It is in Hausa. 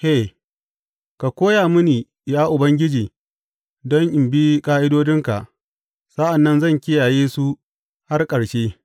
He Ka koya mini Ya Ubangiji, don in bi ƙa’idodinka; sa’an nan zan kiyaye su har ƙarshe.